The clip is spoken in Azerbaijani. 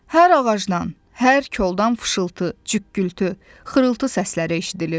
Hər ağacdan, hər koldan fışıltı, cükkültü, xırıltı səsləri eşidilirdi.